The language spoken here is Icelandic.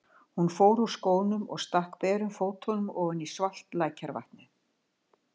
Hún fór úr skónum og stakk berum fótunum ofan í svalt lækjarvatnið.